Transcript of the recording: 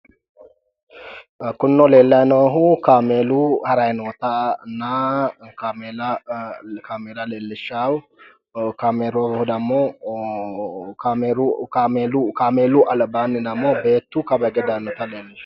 Kunino leellayi noohu kaameelu harayi nootanna kaameela leellishshawo, kaameelu dammo kaameelu albaanni dammo beettu kawa hige daannota leellishawo.